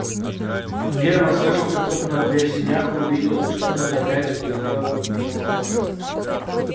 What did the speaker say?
германн слышал как хлопнула дверь в сенях и увидел что кто-то опять поглядел к нему в окошко